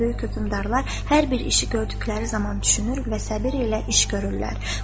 “Xüsusən böyük hökmdarlar hər bir işi gördükləri zaman düşünür və səbir ilə iş görürlər.”